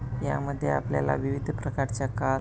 या मध्ये आपल्याला विविध प्रकारच्या कार --